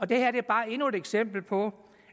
det her er bare endnu et eksempel på